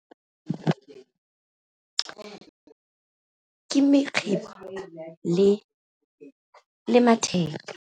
Ke mekgibo le matheka.